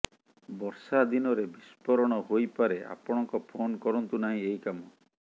ବର୍ଷା ଦିନରେ ବିସ୍ଫୋରଣ ହୋଇପାରେ ଆପଣଙ୍କ ଫୋନ୍ କରନ୍ତୁ ନାହିଁ ଏହି କାମ